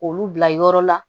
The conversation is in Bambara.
Olu bila yɔrɔ la